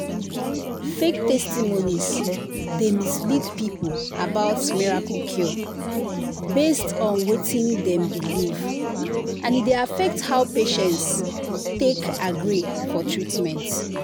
“fake testimonies dey mislead people about miracle cure based on wetin dem believe and e dey affect how patients take agree for treatment.”